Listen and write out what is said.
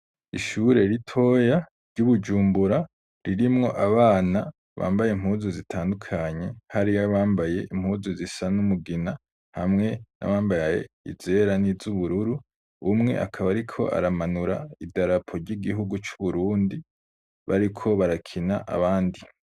Ishure ritoya ry'iBujumbura ririmwo abana bambaye impuzu zitandukanye hariy'abambaye impuzu zisa n'umugina hamwe n'abambaye izera n'izubururu, umwe akab'ariko amanura idarapo ry'igihugu c'Uburundi bariko barakina abandi.